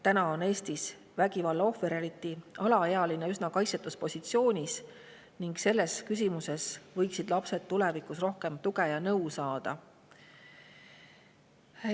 Täna on Eestis vägivalla ohver, eriti alaealine, üsna kaitsetus positsioonis ning selles küsimuses võiksid lapsed tulevikus rohkem tuge ja nõu saada.